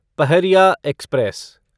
Pahariya express